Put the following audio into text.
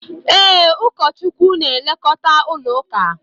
Ee, ụkọchukwu n'elekota ụlọ ụka